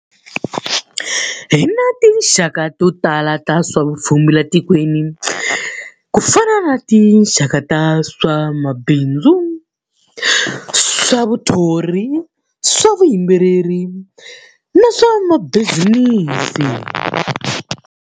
Hi na tinxaka to tala ta swa vupfhumba laha tikweni. Ku fana na tinxaka ta swa mabindzu, swa muthori, swa vuyimbeleri, na swa mabizinisi.